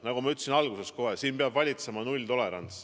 Nagu ma ütlesin alguses kohe: siin peab valitsema nulltolerants.